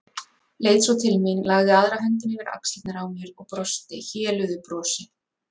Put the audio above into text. Leit svo til mín, lagði aðra höndina yfir axlirnar á mér og brosti héluðu brosi.